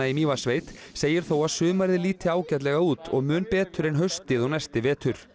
í Mývatnssveit segir þó að sumarið líti ágætlega út og mun betur en haustið og næsti vetur